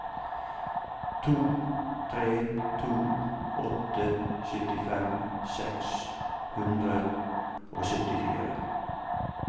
to tre to åtte syttifem seks hundre og syttifire